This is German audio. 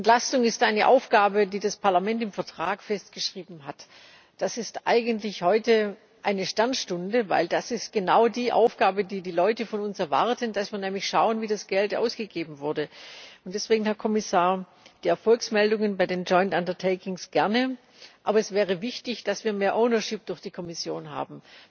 Entlastung ist eine Aufgabe, die das Parlament im Vertrag festgeschrieben hat. Das ist eigentlich heute eine Sternstunde, denn das ist genau die Aufgabe, die die Leute von uns erwarten, dass wir nämlich schauen, wie das Geld ausgegeben wurde. Deswegen, Herr Kommissar Die Erfolgsmeldungen bei den gerne, aber es wäre wichtig, dass wir mehr durch die Kommission haben.